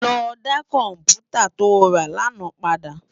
Lò dá kòmpútá tó rá làná pàdá